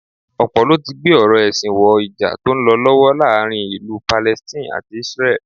Ọ̀pọ̀ ló ti gbé ọ̀rọ̀ ẹ̀sìn wọ Ìjà tó ń lọ lọ́wọ́ láàárín ìlú Palestine àti Isreal